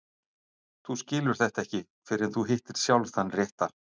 Þú skilur þetta ekki fyrr en þú hittir sjálf þann rétta.